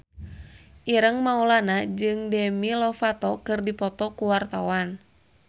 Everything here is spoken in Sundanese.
Ireng Maulana jeung Demi Lovato keur dipoto ku wartawan